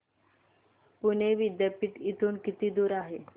पुणे विद्यापीठ इथून किती दूर आहे